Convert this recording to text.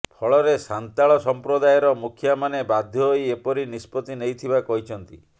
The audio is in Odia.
ଫଳରେ ସାନ୍ତାଳ ସମ୍ପ୍ରଦାୟର ମୁଖିଆମାନେ ବାଧ୍ୟ ହୋଇ ଏପରି ନିଷ୍ପତ୍ତି ନେଇଥିବା କହିଛନ୍ତି